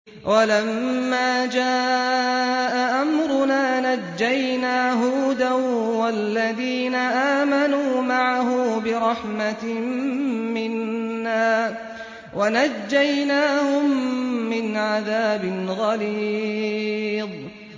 وَلَمَّا جَاءَ أَمْرُنَا نَجَّيْنَا هُودًا وَالَّذِينَ آمَنُوا مَعَهُ بِرَحْمَةٍ مِّنَّا وَنَجَّيْنَاهُم مِّنْ عَذَابٍ غَلِيظٍ